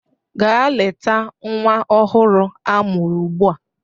Gaa leta nwa ọhụrụ a mụrụ ugbu a!